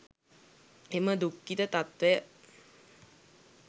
එම දුක්ඛිත තත්ත්වය